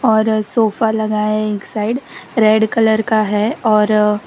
और सोफा लगा है एक साइड रेड कलर का है और--